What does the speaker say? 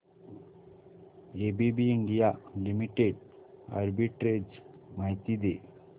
ABB India limited arbitrage माहिती दे